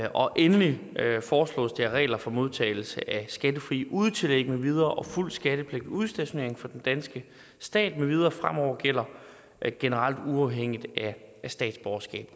og endelig foreslås det at regler for modtagelse af skattefrie udetillæg med videre og fuld skattepligt ved udstationering for den danske stat med videre fremover gælder generelt uafhængigt af statsborgerskab